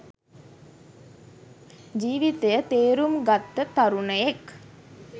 ජීවිතය තේරුම් ගත්ත තරුණයෙක්